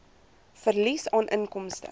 verlies aan inkomste